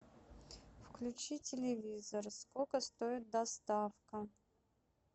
включи телевизор сколько стоит доставка